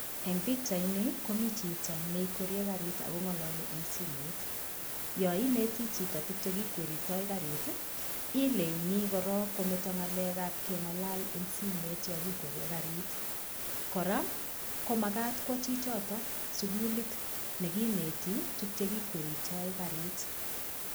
Eng' pikchaini komi chito neikweriei karit akong'ololi eng' simoit yo ineti chito tukche kikweritoi karit ileini korok kometo ng'alekab keng'alal eng' simet yo kikweriei karit kora komakat kwo chichito sukulit nekineti tukchekikweritoi karit